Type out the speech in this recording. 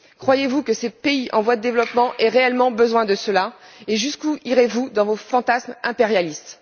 Croyez vous que ces pays en voie développement aient réellement besoin de cela et jusqu'où irez vous dans vos fantasmes impérialistes?